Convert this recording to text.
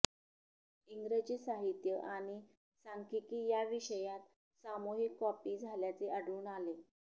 इंग्रजी साहित्य आणि सांख्यिकी या विषयात सामूहिक कॉपी झाल्याचे आढळून आले